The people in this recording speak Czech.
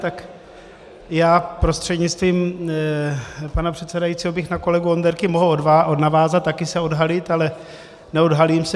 Tak já prostřednictvím pana předsedajícího bych na kolegu Onderku mohl navázat, také se odhalit, ale neodhalím se.